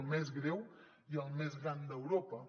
el més greu i el més gran d’europa